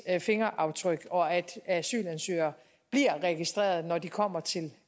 fingeraftryk og at asylansøgere bliver registreret når de kommer til det